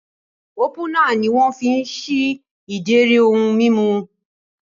Ópúnà ni wọ́n fi ń ṣí ìdérí ohun mímu